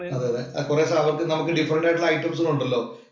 അതെ അതേ. കൊറേഭാഗത്ത് നമുക്ക് ഡിഫ്രന്‍റ് ആയിട്ടുള്ള ഇറ്റംസുകള്‍ ഉണ്ടല്ലോ